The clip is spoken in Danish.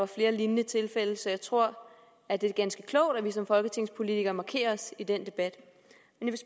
flere lignende tilfælde så jeg tror at det er ganske klogt at vi som folketingspolitikere markerer os i den debat